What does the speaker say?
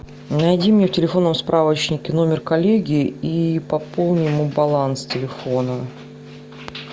найди мне в телефонном справочнике номер коллеги и пополни ему баланс телефона